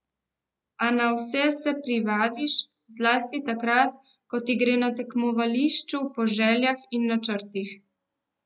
A na vse se privadiš, zlasti takrat, ko ti gre na tekmovališču po željah in načrtih.